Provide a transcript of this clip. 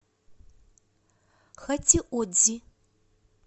хатиодзи